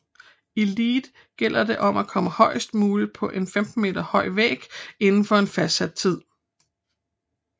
I lead gælder det om at komme højest muligt på en 15 meter høj væg indenfor en fastsat tid